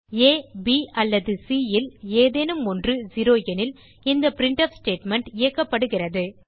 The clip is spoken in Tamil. ஆ ப் அல்லது சி ல் ஏதேனும் ஒன்று 0 எனில் இந்த பிரின்ட்ஃப் ஸ்டேட்மெண்ட் இயக்கப்படுகிறது